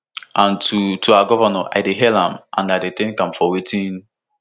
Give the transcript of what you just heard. and to to our govnor i dey hail am and i thank am for wetin